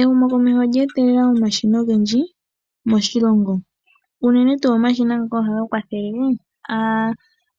Ehumokomeho olye etelela omashina ogendji moshilongo. Unene tuu omashina ngoka ohaga kwathele